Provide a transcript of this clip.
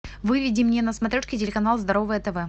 выведи мне на смотрешке телеканал здоровое тв